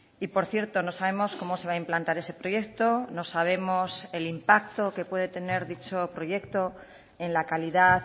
y por cierto no sabemos cómo se va a implantar ese proyecto no sabemos el impacto que puede tener dicho proyecto en la calidad